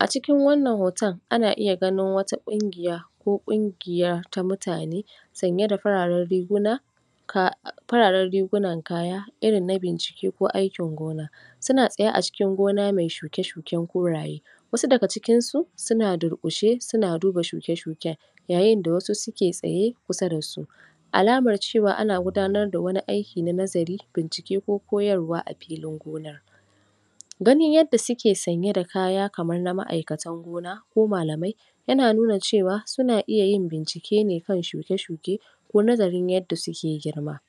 a cikin wanna hoton ana iya ganin wata ƙungiya ko ƙungiya ta mutane sanye da fararen riguna fararen rigunan kaya irin na bincike ko aikin gona suna tsaye a cikin gona me shuke shuken koraye wasu daga cikin su suna durƙushe suna duba shuke shuken yayin da wasu suke tsaye kusa dasu alamar cewa ana gudanar da wani aiki na nazari bincike ko koyarwa a filin gonar ganin yadda suke sanye da kaya kamar na ma'aikatan gona ko malamai yana nuna cewa suna iya yin bincike ne kan shuke shuke ko nazarin yadda suke girma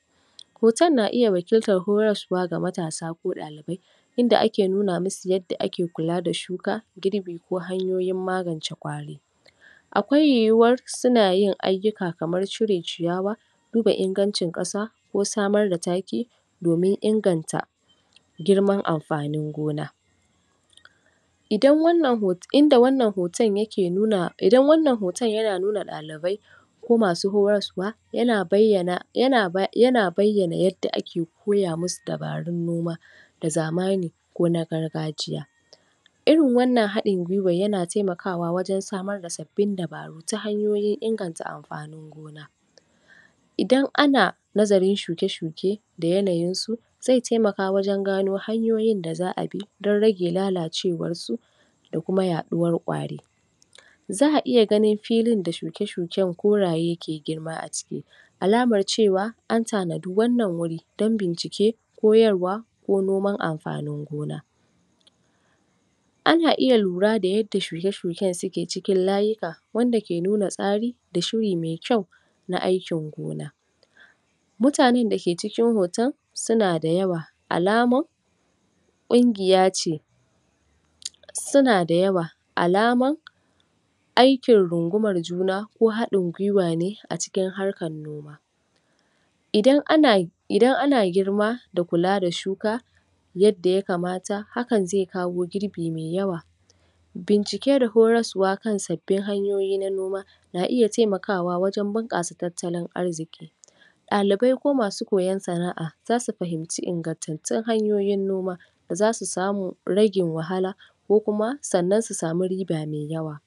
hoton na iya wakiltar horaswa ga matasa ko ɗalibai inda ake nuna musu yadda ake kula da shuka girbi ko hanyoyin magance ƙwari akwai yiwuwar suna yin aiki kamar cire ciyawa duba ingancin ƙasa ko samar da taki domin inganta girman amfanin gona um indan wannan hoton yana nuna ɗalibai ko masu horaswa yana bayyana um yadda ake koya musu dabarun noma da zamani ko na gargajiya irin wannan haɗin gwiwar yana taimakawa wajen samar da sabbin dabaru ta hanyoyin inganta amfanin gona idan ana nazarin shuke shuke da yanayin su ze taimaka wajen gano hanyoyin da za'a bi don rage lalacewar su da kuma yaɗuwar ƙwari za'a iya ganin filin da shuke shuken koraye ke girma a ciki alamar cewa an tanadi wannan guri don bincike koyarwa ko noman amfanin gona ana iya lura da shuke shuken da suke cikin layika wanda ke nuna tsari da shuri me kyau na aikin gona mutanen dake cikin hoton suna da yawa alaman ƙungiya ce suna da yawa alamar aikin rungumar juna ko haɗin gwiwa ne a cikin harkar noma idan ana[um] girma da kula da shuka yadda ya kamata hakan ze kawo girbime yawa bincike da huraswa kan sabbin hanyoyi na noma na iya taimakawa wajen bunƙasa tattalin arziki ɗalibai ko masu koyan sana'a zasu fahinci ingantattun hanyoyin noma da zasu samu ragin wahala ko kuma sanna su samu riba me yawa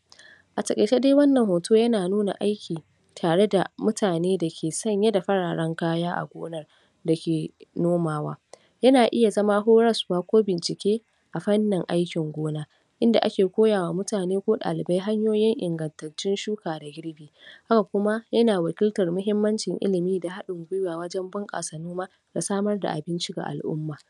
a taƙaice dai wannan hoto yana nuna aiki tare da mutane dake sanye da fararen kaya a gonar dake nomawa yana iya zama horaswa ko bincike a fannin aikin gona inda ake koyawa mutane ko ɗalibai hanyoyi ingantattun shuka da girbi haka kuma yana wakiltar muhimmancin ilimi da haɗin gwiwa wajen bunƙasa noma da samar da abinci ga al'uma